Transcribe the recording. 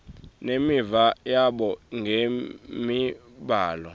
nemiva yabo ngemibhalo